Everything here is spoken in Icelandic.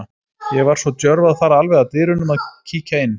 Ég var svo djörf að fara alveg að dyrunum og kíkja inn.